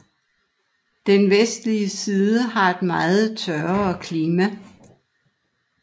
Den vestlige side har et meget tørrere klima